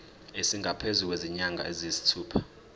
esingaphezu kwezinyanga eziyisithupha